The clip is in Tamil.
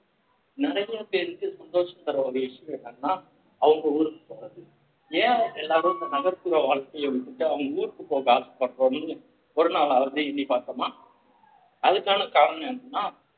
நெறைய பேருக்கு சந்தோஷம் தர்ற ஒரு விஷயம் என்னன்னா அவங்க ஊருக்கு போறது ஏ அவங்க எல்லாரும் நகர்~ நகர்புற வாழ்க்கைய விட்டுட்டு அவங்க ஊருக்கு போக ஆசைப்படுறோம்ன்னு ஒரு நாளாவது எண்ணி பார்த்தோமா அதுக்கான காரணம் என்னன்னா